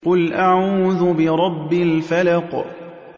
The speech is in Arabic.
قُلْ أَعُوذُ بِرَبِّ الْفَلَقِ